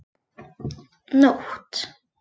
Nótt